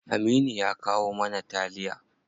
Aminu ya kawo mana taliya.